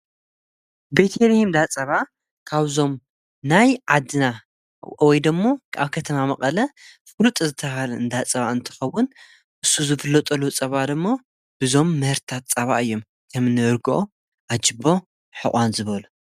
ጸባን ጸባ መሰረት ዝገበረ ፍርያትን ዝሸጣ ትካላት ሸቐጥ እየን። ከም ቅጫ፡ ሓርጭ፡ በርበረን ጣፍን ዝኣመሰሉ ነገራት የቕርቡ። እዘን ድኳናት ንመዓልታዊ ኣጠቓቕማ ተጠቀምቲ ዝኸውን ፍሩይ ፍርያት ጸባ የቕርባ።